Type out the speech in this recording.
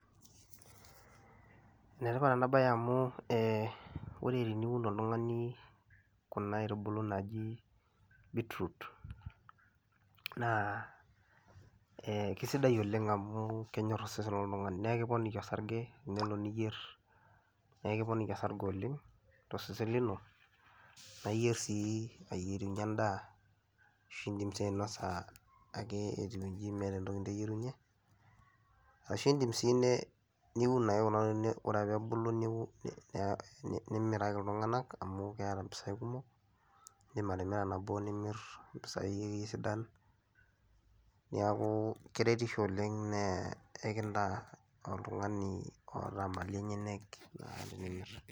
Ene tipat ena baye amu ee ore teniun oltung'ani kuna aitubulu naaji beetroot naa ee kisidai oleng' amu kenyor osesen loltung'ani neekiponiki osarge enelo niyer nekiponiki osarge oleng' to sesen lino naa iyer sii aikirinka endaa ashu iindim sii ainosa ake etiu nji meeta entoki niteyerunye. Ashu iindim sii ne niun ake kuna tokitin ore ake peebulu niu ne ni nimiraki iltung'anak amu keeta mpisai kumok, iindim atimira nabo nimir mpisai sidan. Neeku keretisho oleng' nee ekintaa oltung'ani oata malin enyenek enemir.